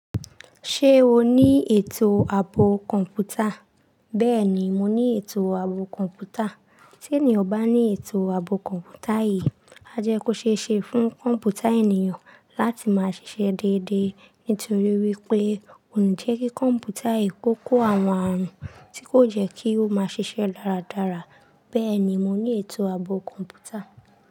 Ṣé o ní ètò ààbò kọ̀ǹpútà? Bẹ́ẹ̀ni, mo ní ètò ààbò kọ̀ǹpútà. Tí ènìyàn bá ní ètò ààbò kọ̀ǹpútà yìí, a jẹ́ kó ṣe é ṣe fún kọ̀ǹpútà ènìyàn láti máa ṣiṣẹ́ déédéé. Nítorí wípé kò ní jẹ́ kí kọ̀ǹpútà yìí kó kó àwọn ààrùn tí kó jẹ́ kí ó máa ṣiṣẹ́ dáradára. Bẹ́ẹ̀ni, mo ní ètò ààbò kọ̀ǹpútà.